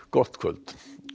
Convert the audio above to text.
gott kvöld